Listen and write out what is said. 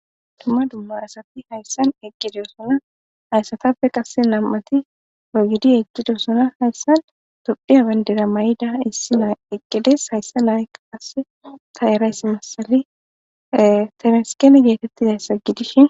Dumma dumma asati hayssan eqqidosona haysatappe qasse nam7ati wegidi eqqidosona. Hayssan tophiya bandira may7ida issi naa eqqides. Hayssa nayakka qasse ta eraysi massale temesgeni geetettidayssa gidishin.